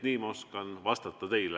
Nii ma oskan teile vastata.